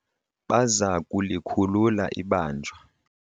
baza kulikhulula ibanjwa